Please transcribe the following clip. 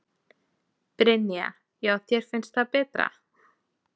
Brynja: Já þér finnst það betra?